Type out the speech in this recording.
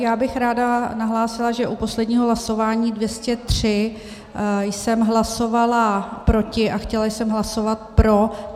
Já bych ráda nahlásila, že u posledního hlasování 203 jsem hlasovala proti, a chtěla jsem hlasovat pro.